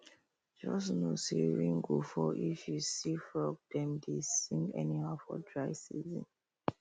just know say rain go fall if you see say frog dem dey sing anyhow for dry season